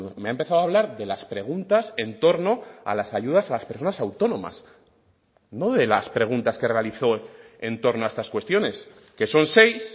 me ha empezado a hablar de las preguntas en torno a las ayudas a las personas autónomas no de las preguntas que realizó en torno a estas cuestiones que son seis